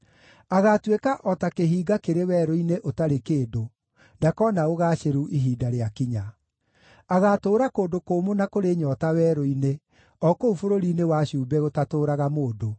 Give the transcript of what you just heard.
Agaatuĩka o ta kĩhinga kĩrĩ werũ-inĩ ũtarĩ kĩndũ; ndakoona ũgaacĩru ihinda rĩakinya. Agaatũũra kũndũ kũmũ na kũrĩ nyoota werũ-inĩ, o kũu bũrũri-inĩ wa cumbĩ gũtatũũraga mũndũ.